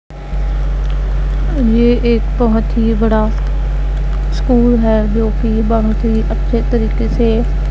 ये एक तो ही बहोत बड़ा स्कूल है जो की बहुत ही अच्छे तरीके से--